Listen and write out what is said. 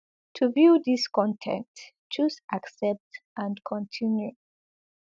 to view dis con ten t choose accept and continue